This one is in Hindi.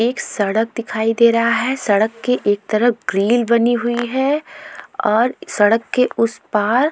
एक सड़क दिखाई दे रहा है सड़क के एक तरफ ग्रिल बनी हुई है और सड़क के उस पार।